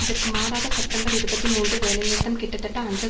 இதற்கு மாறாக செப்டம்பர் இருபத்தி மூன்று வேலைநிறுத்தம் கிட்டத்தட்ட அஞ்சல்